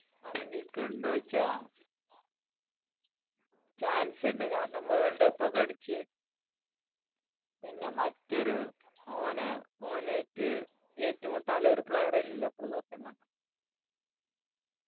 അർഹിക്ക് ണ്ടോ ചോയ്ച്ച chance ഇണ്ട് കാരണം world cup ഒക്കെ അടിച്ച് പിന്നെ മറ്റൊരു ഓനാ ഓനാഇറ്റ്‌ ഏറ്റുമുട്ടാൻ player ഇല്ല ഇപ്പോൾ സത്യം പറഞ്ഞ